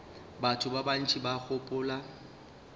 batho ba bantši ba gopola